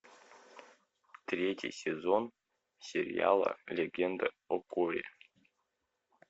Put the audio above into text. третий сезон сериала легенда о корре